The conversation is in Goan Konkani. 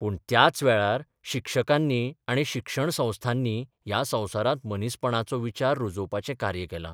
पूण त्याच वेळार शिक्षकांनी आनी शिक्षणसंस्थांनी ह्या संवसारांत मनीसपणाचो विचार रुजोवपाचें कार्य केलां.